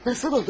Necə oldu?